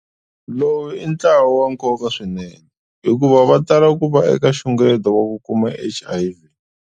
Lowu i ntlawa wa nkoka swinene hikuva va tala ku va eka nxungeto wa ku kuma HIV.